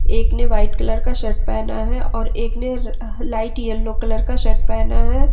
एक ने white colour का शर्ट पहना है और एक ने लाइट येलो कलर का शर्ट पहना है।